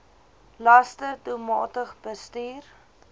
laste doelmatig bestuur